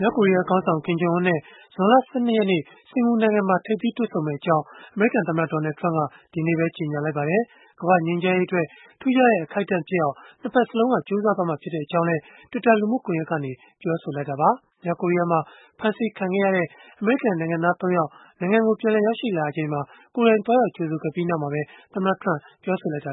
မြောက်ကိုရီးယားခေါင်းဆောင် Kim Jong Unနဲ့ ဇွန်လ ၁၂ ရက်နေ့ စင်္ကာပူနိုင်ငံမှာ ထိပ်သီးတွေ့ဆုံမယ့်အကြောင်း အမေရိကန်သမ္မတ Donald Trump ဒီနေ့ပဲ ကြေညာလိုက်ပါတယ်။ ကမ္ဘာ့ငြိမ်းချမ်းရေးအတွက် ထူးခြားတဲ့ အခိုက်အတန့်ဖြစ်အောင် ၂ ဘက်စလုံးက ကြိုးစားသွားမှာ ဖြစ်ကြောင်းလည်း Twitter လူမှုကွန်ယက်ကနေ ပြောဆိုလိုက်တာပါ။ မြောက်ကိုရီးယားမှာ ဖမ်းဆီးခံခဲ့ရတဲ့ အမေရိကန်နိုင်ငံသား ၃ ယောက် အမေရိကန်ကို ပြန်ရောက်လာချိန်မှာ သွားရောက်ကြိုဆိုခဲ့ပြီးနောက်မှာပဲ သမ္မတ Trump ကပြောဆိုခဲ့တာပါ